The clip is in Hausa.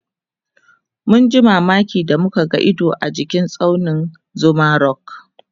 mun ji mamaki da muka ga Ido jikin tsaunin Zuma rock